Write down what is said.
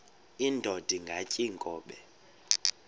indod ingaty iinkobe